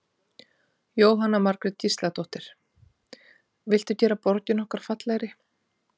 Jóhanna Margrét Gísladóttir: Viltu gera borgina okkar fallegri?